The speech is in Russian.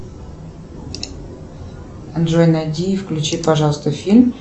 джой найди и включи пожалуйста фильм